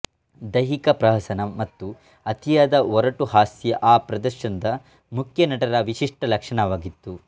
ದೈಹಿಕ ಪ್ರಹಸನ ಮತ್ತು ಅತಿಯಾದ ಒರಟು ಹಾಸ್ಯ ಆ ಪ್ರದರ್ಶನದ ಮುಖ್ಯ ನಟರ ವಿಶಿಷ್ಟ ಲಕ್ಷಣವಾಗಿತ್ತು